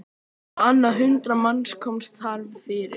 Á annað hundrað manns komust þar fyrir.